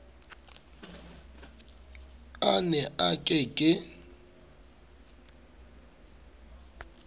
a ne a ke ke